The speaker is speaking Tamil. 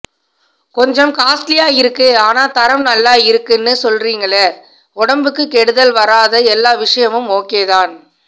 கொஞ்சம் காஸ்ட்லியா இருக்கு ஆனா தரம் நல்ல இருக்குன்னு சொல்ரீங்கலே உடம்புக்கு கெடுதல் வராத எல்லாவிஷயமும் ஒகே தான்